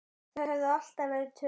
Þau höfðu alltaf verið tvö.